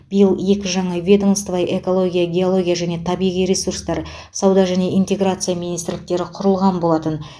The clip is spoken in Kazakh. биыл екі жаңа ведомство экология геология және табиғи ресустар сауда және интеграция министрліктері құрылған болатын